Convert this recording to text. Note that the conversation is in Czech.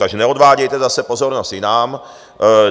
Takže neodvádějte zase pozornost jinam.